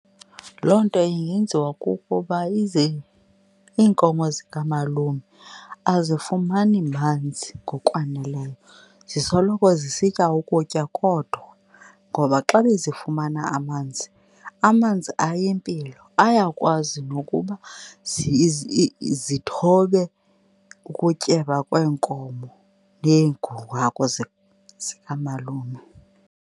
Loo nto ingenziwa kukuba ize iinkomo zikamalume azifumani manzi ngokwaneleyo, zisoloko zisitya ukutya kodwa. Ngoba xa bezifumana amanzi, amanzi ayimpilo, ayakwazi nokuba zithobe ukutyeba kweenkomo hagu zikamalume.